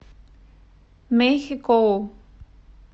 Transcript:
мэйхэкоу